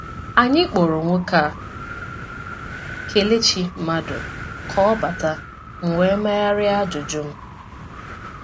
Anyị kpọrọ nwoke a, Kelechi Madu, ka ọ bata, m wee megharịa ajụjụ m.